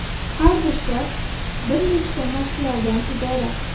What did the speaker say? Har bir shart bir nechta mashqlardan iborat.